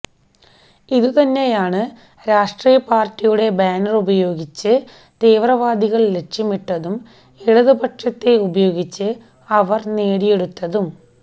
ഇതുതന്നെയാണ് രാഷ്ട്രീയപാര്ട്ടിയുടെ ബാനറുപയോഗിച്ച് തീവ്രവാദികള് ലക്ഷ്യമിട്ടതും ഇടതുപക്ഷത്തെ ഉപയോഗിച്ച് അവര് നേടിയെടുത്തതും